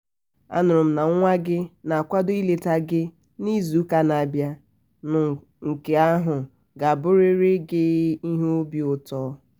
a nụrụ m na nwa nwa gị na-akwado ịleta gị n'izuụka na-abịa nụ nke um ahụ ga-abụrịrị um gị ihe obi ụtọ!